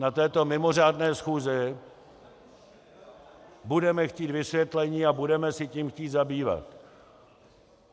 Na této mimořádné schůzi budeme chtít vysvětlení a budeme se tím chtít zabývat.